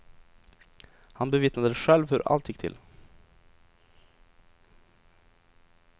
Han bevittnade själv hur allt gick till.